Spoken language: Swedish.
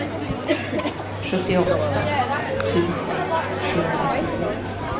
sjuttioåtta tusen sjuhundratio